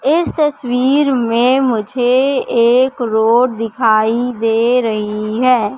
इस तस्वीर में मुझे एक रोड दिखाई दे रही है।